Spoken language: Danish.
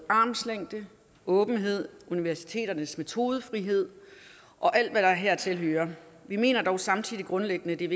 armslængde åbenhed universiteternes metodefrihed og alt hvad der hertil hører vi mener dog samtidig grundlæggende at det er